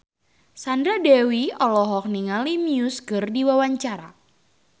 Sandra Dewi olohok ningali Muse keur diwawancara